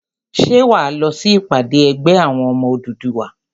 Ṣé wà á lọ sí ìpàdé ẹgbẹ́ àwọn ọmọ Odùduwà?